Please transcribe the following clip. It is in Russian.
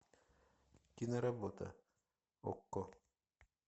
киноработа окко